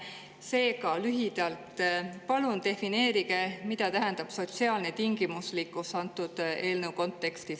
Seega, palun defineerige lühidalt, mida tähendab sotsiaalne tingimuslikkus antud eelnõu kontekstis.